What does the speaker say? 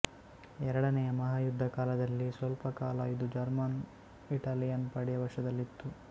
ಎರಡನೆಯ ಮಹಾಯುದ್ದ ಕಾಲದಲ್ಲಿ ಸ್ವಲ್ಪಕಾಲ ಇದು ಜರ್ಮನ್ಇಟಾಲಿಯನ್ ಪಡೆಯ ವಶದಲ್ಲಿತ್ತು